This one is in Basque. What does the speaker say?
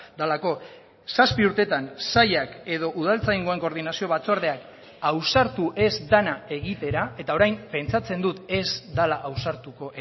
delako zazpi urtetan sailak edo udaltzaingoan koordinazio batzordean ausartu ez dena egitera eta orain pentsatzen dut ez dela ausartuko